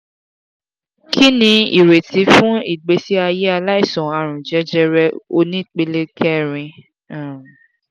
kini ireti fun igbesi aye alaisan arun jejere onipele kerin? um